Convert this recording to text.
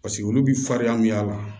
Paseke olu bi farinya mi y'a la